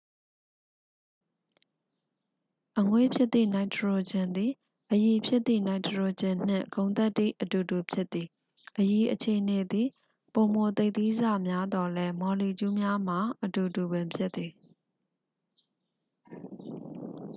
အငွေ့ဖြစ်သည့် နိုက်ထရိုဂျင်သည် အရည်ဖြစ်သည့် နိုက်ထရိုဂျင်နှင့် ဂုဏ်သတ္တိအတူတူဖြစ်သည် အရည်အခြေအနေသည် ပိုမိုသိပ်သည်းဆများသော်လည်း မော်လီကျူးများမှာ အတူတူပင်ဖြစ်သည်